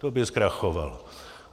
To by zkrachovala.